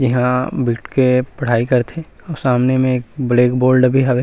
इहा बईठ के पढ़ाई करथे और सामने में एक ब्लैक बोर्ड भी हावे।